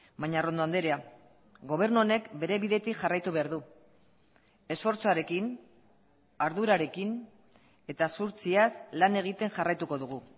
baina arrondo andrea gobernu honek bere bidetik jarraitu behar du esfortzuarekin ardurarekin eta zuhurtziaz lan egiten jarraituko dugu